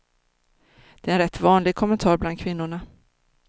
Det är en rätt vanlig kommentar bland kvinnorna.